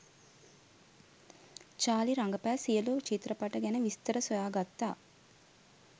Charlie රඟපෑ සියලු චිත්‍රපට ගැන විස්තර සොයා ගත්තා